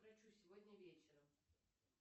к врачу сегодня вечером